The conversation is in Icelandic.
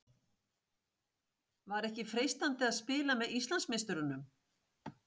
Var ekki freistandi að spila með Íslandsmeisturunum?